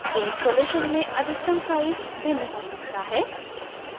आपके installation में अधिकतम size भिन्न हो सकता है